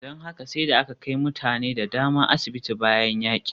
Don haka sai da aka kai mutane da dama asibiti bayan yakin.